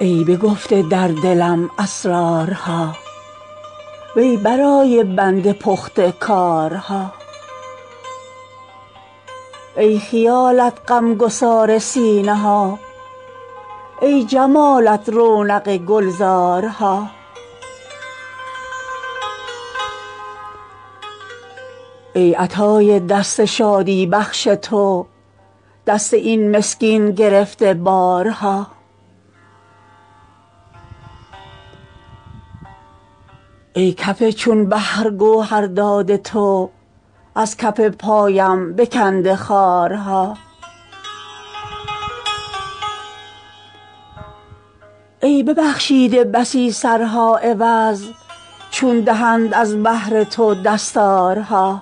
ای بگفته در دلم اسرارها وی برای بنده پخته کارها ای خیالت غمگسار سینه ها ای جمالت رونق گلزارها ای عطای دست شادی بخش تو دست این مسکین گرفته بارها ای کف چون بحر گوهرداد تو از کف پایم بکنده خارها ای ببخشیده بسی سرها عوض چون دهند از بهر تو دستارها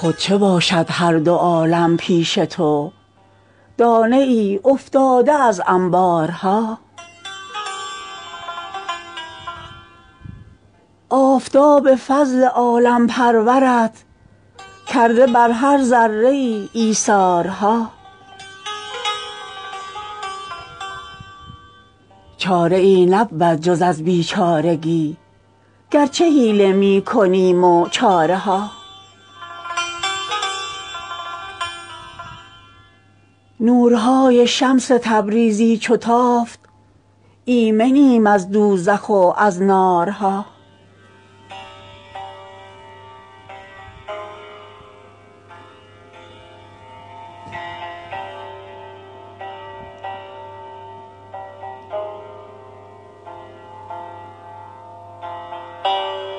خود چه باشد هر دو عالم پیش تو دانه افتاده از انبارها آفتاب فضل عالم پرورت کرده بر هر ذره ای ایثارها چاره ای نبود جز از بیچارگی گرچه حیله می کنیم و چاره ها نورهای شمس تبریزی چو تافت ایمنیم از دوزخ و از نارها